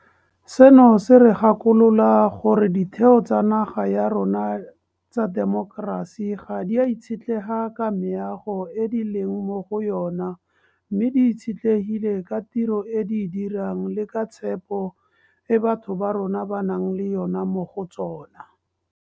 Seno se re gakolola gore ditheo tsa naga ya rona tsa temokerasi ga di a itshetlega ka meago e di leng mo go yona mme di itshetlegile ka tiro e di e dirang le ka tshepo e batho ba rona ba nang le yona mo go tsona.